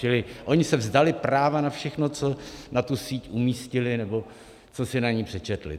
Čili oni se vzdali práva na všechno, co na tu síť umístili nebo co si na ní přečetli.